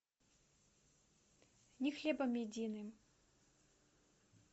не хлебом единым